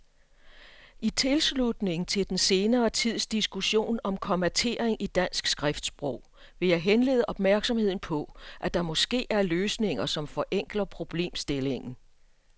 I tilslutning til den senere tids diskussion om kommatering i dansk skriftsprog vil jeg henlede opmærksomheden på, at der måske er løsninger, som forenkler problemstillingen.